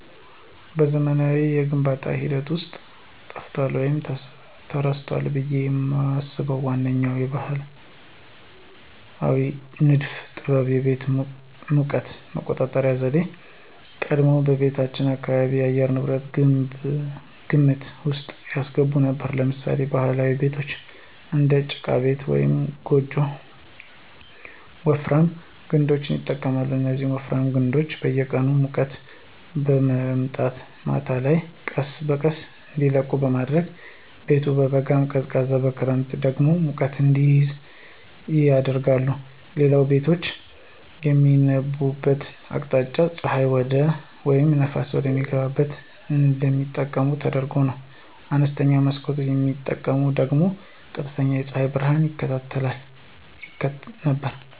በዘመናዊው የግንባታ ሂደት ውስጥ ጠፍቷል ወይም ተረስቷል ብዬ የማስበው ዋነኛው ባሕላዊ ንድፍ ጥበብ የቤቶች የሙቀት መቆጣጠሪያ ዘዴ ነው። ቀደምት ቤቶች የአካባቢን የአየር ንብረት ግምት ውስጥ ያስገቡ ነበሩ። ለምሳሌ ባህላዊ ቤቶች (እንደ ጭቃ ቤት ወይም ጎጆ) ወፍራም ግድግዳዎችን ይጠቀማሉ። እነዚህ ወፍራም ግድግዳዎች የቀኑን ሙቀት በመምጠጥ ማታ ላይ ቀስ በቀስ እንዲለቁ በማድረግ ቤቱ በበጋ ቀዝቃዛ በክረምት ደግሞ ሙቀት እንዲይዝ ያደርጋሉ። ሌላው ቤቶች የሚገነቡበት አቅጣጫ ፀሐይን ወይም ነፋስን በሚገባ እንዲጠቀም ተደርጎ ነበር። አነስተኛ መስኮት መጠቀም ደግሞ ቀጥተኛ የፀሐይ ብርሃንን ይከላከል ነበር።